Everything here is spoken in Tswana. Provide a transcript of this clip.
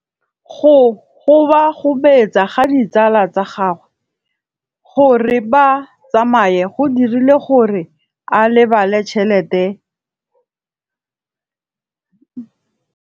Go gobagobetsa ga ditsala tsa gagwe, gore ba tsamaye go dirile gore a lebale tšhelete.